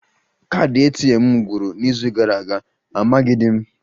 Kaadị ATM m gwụrụ n'izu gara aga, amaghịdị m